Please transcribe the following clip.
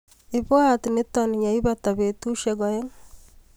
Ibwaat nito yeipata betusiek aeng.